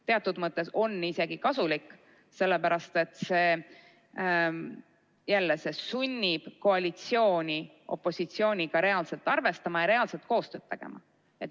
Teatud mõttes on see isegi kasulik, sellepärast et see sunnib koalitsiooni opositsiooniga reaalselt arvestama ja reaalset koostööd tegema.